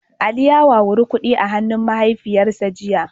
Ali ya wawuri kudi a hannun mahaifiyarsa jiya